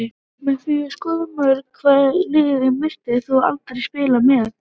Með því að skora mörk Hvaða liði myndir þú aldrei spila með?